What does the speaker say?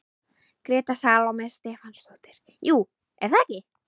Gréta Salóme Stefánsdóttir: Jú, er það ekki?